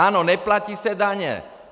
Ano, neplatí se daně.